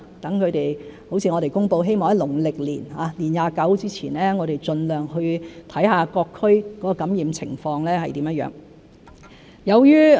正如我們公布，希望能在農曆年年二十九之前，盡量去看看各區的感染情況如何。